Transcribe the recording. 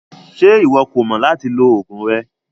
Ṣe iwọ kò mọ lati lo ogun rẹ?